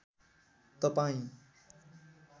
तपाईँ